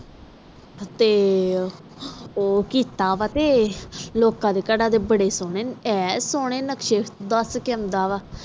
ਤੇ ਉਹ ਕੀਤਾ ਵਾਟ ਲੋਕ ਦੇ ਘਰ ਦੇ ਬਾਰੇ ਸੋਹਣੇ ਐਨ ਸੋਨੇ ਨਕਸ਼ੇ ਦਸ ਕੇ ਆਂਦਾ ਵਾ